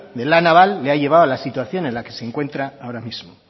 de la naval le ha llevado a la situación en la que se encuentra ahora mismo